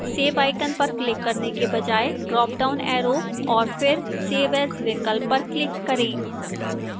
save icon पर click करने के बजाय ड्राप डाउन arrow और फिर save as विकल्प पर click करें